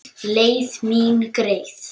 Leið mín greið.